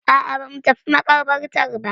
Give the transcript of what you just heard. A'a ba mu tafi maƙabartar ba.